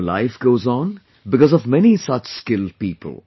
Our life goes on because of many such skilled people